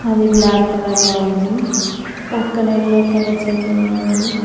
అది black colour లో ఉంది పక్కనే ఎల్లో కలర్ చేర్ కూడా ఉంది.